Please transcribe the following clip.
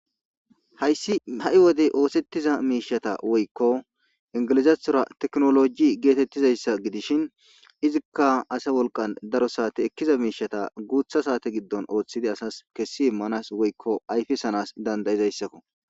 hayssi ha7i wodey oosettiza miishata woykko ingilizathora teknoloji geetettizayssa gidishin izikka ase wolqan daro saate ekkiza miishata guutha saate giddon ooththidi asas kessi immanas woykko ayfisanas dandayizayssakko